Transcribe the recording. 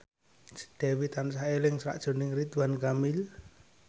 Dewi tansah eling sakjroning Ridwan Kamil